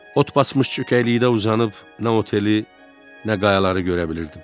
Ot basmış çökəkliyində uzanıb nə oteli, nə qayaları görə bilirdim.